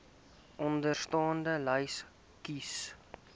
onderstaande lys kies